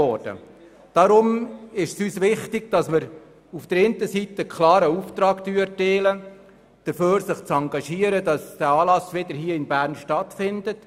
Deshalb ist es uns wichtig, auf der einen Seite klar den Auftrag dazu zu erteilen, sich für die erneute Austragung der SwissSkills in Bern zu engagieren.